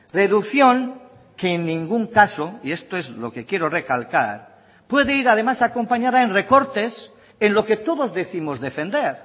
reducción que en ningún caso y esto es lo que quiero recalcar puede ir además acompañada en recortes en lo que todos décimos defender